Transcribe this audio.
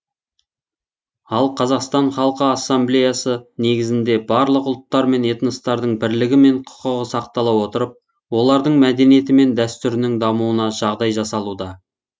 ал қазақстан халқы ассамблеясы негізінде барлық ұлттар мен этностардың бірлігі мен құқығы сақтала отырып олардың мәдениеті мен дәстүрінің дамуына жағдай жасалуда